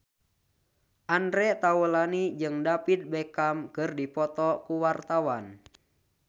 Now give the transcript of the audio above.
Andre Taulany jeung David Beckham keur dipoto ku wartawan